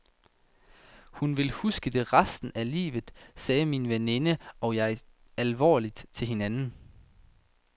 Hun vil huske det resten af livet, sagde min veninde og jeg alvorligt til hinanden.